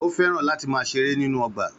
Ó fẹ́ràn láti máà ṣeré nínú ọgbà